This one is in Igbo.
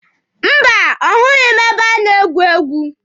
Mba, ọ hụghị ebe a na-egwu egwu.